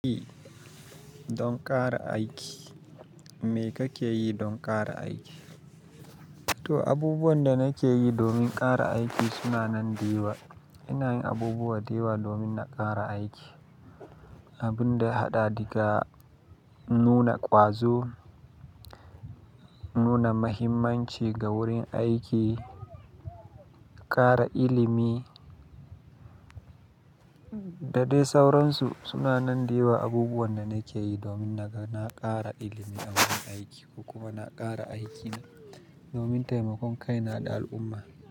Yi don ƙara aiki. Me kake yi don ƙara aiki? To, abubuwan da nake yi domin ƙara aiki suna nan da yawa. Ina yin abubuwa da yawa domin na ƙara aiki. Abunda ya haɗa dika nuna ƙwazo, nuna mahimmanci ga wurin aiki, ƙara ilimi da dai sauransu suna nan da yawa abubuwan da nake yi domin naga na ƙara ilimi a wurin aiki ko kuma na ƙara aikina domin taimakon kaina da al'umma.